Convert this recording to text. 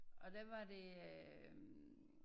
Og der var det øh